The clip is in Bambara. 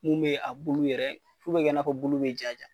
Mun bɛ a kulu yɛrɛ f'u bɛ kɛ n'a fɔ bulu bɛ ja ja.